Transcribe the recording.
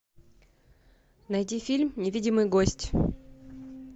найди фильм невидимый гость